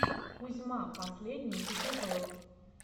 кузьма последний эпизод